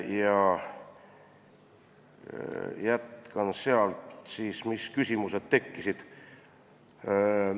Räägin veidi, mis küsimused meil tekkisid.